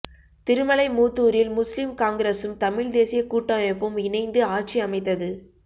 திருமலை மூதுாரில் முஸ்லீம் காங்கிரசும் தமிழ் தேசிய கூட்டமைப்பும் இணைந்து ஆட்சி அமைத்தது